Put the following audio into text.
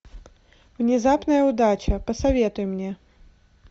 внезапная удача посоветуй мне